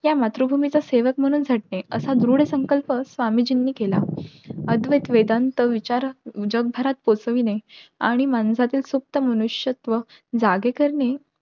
या मातृभूमीच्या सेवक म्हणून झटणे हा दृढ संकल्प स्वामी जिन्हि केला. अद्वैत वेदांत साऱ्या जगभरात पोहचवणे, आणि माणसातील सुप्त मनुष्यत्व जागे करणे.